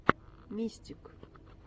мистик